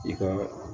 I ka